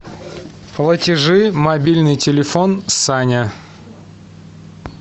платежи мобильный телефон саня